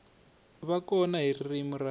va kona hi ririmi ra